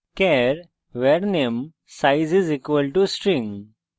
char var _ name size = string;